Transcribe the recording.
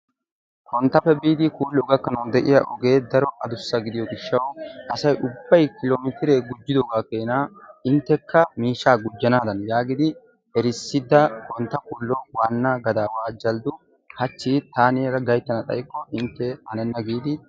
Panttappe biidi Kuullo gakkanawu de'iya ogee addussa gidiyo gishshawu asay ubbay kilomittiree gujjiddogaa keenna inttekka miishshaa gujjanaadan yaagidi erissida Kontta kuullo wanna gadaawa Jalddu hachchi taani yaada gayttana xaykko inttee hanenna giidi...